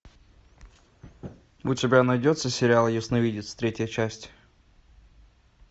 у тебя найдется сериал ясновидец третья часть